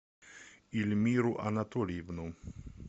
ильмиру анатольевну